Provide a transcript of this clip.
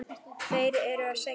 Þeir eru að sækja mig.